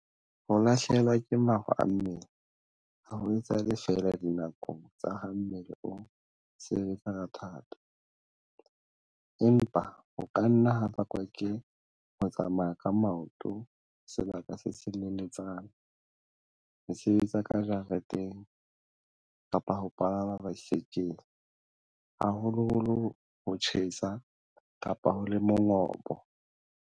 Ho lahlehelwa ke maro a mmele ha ho etsahale feela dinakong tsa ha mmele o sebetsa ka thata, empa ho ka nna ha bakwa ke ho tsamaya ka maoto sebaka se seleletsana, ho sebetsa ka jareteng kapa ho palama baesekele, haholoholo ha ho tjhesa kapa ho le mongobo.